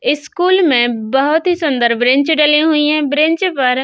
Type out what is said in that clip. इस स्कूल में बोहोत ही सुन्दर ब्रेंच डले हुए हैं ब्रेंच पर --